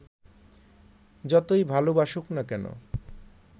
যতই ভালবাসুক না কেন